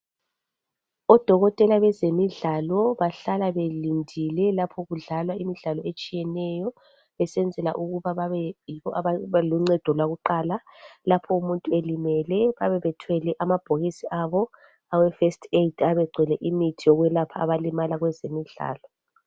Odokotela bezemidlalo bahlala belindile lapho kudlalwa imidlalo etshiyeneyo besenzela ukuba babe yibo ababa luncedo lwakuqala lapho umuntu elimele bayabe bethwele amabhokisi abo aweFirst Aid ayabe egcwele imithi yokwelapha abalimala kwezemidlalo.